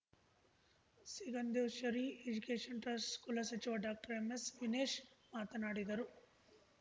Sigandureshwari education ಟ್ರಸ್ಟ್‌ನ ಕುಲಸಚಿವ ಡಾಕ್ಟರ್ಎಂಎಸ್‌ವಿನೇಶ್‌ ಮಾತನಾಡಿದರು